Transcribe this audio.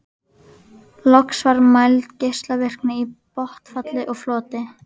Loks var mæld geislavirkni í botnfalli og floti.